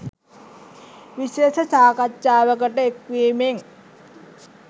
විශේෂ සාකච්ඡාවකට එක් වෙමින්